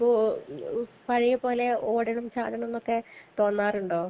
ഇപ്പൊ പഴയത് പോലെ ഓടണം ചാടണം എന്നൊക്കെ തോന്നാറുണ്ടോ?